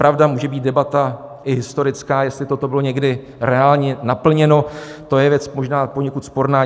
Pravda, může být debata i historická, jestli toto bylo někdy reálně naplněno, to je věc možná poněkud sporná.